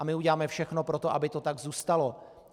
A my uděláme všechno pro to, aby to tak zůstalo.